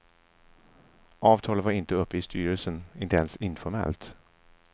Avtalet var inte uppe i styrelsen, inte ens informellt.